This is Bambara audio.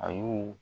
A y'u